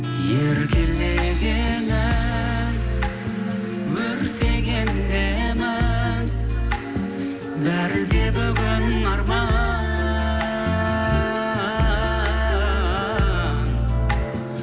еркелегенің өртенген емің бәрі де бүгін арман